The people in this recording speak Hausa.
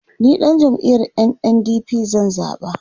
ni ɗan jam'iyar NNDP zan zaɓa